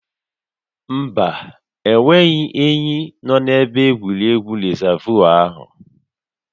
Mba, enweghị ényí nọ na-ebe egwuregwu rịzaavụ áhụ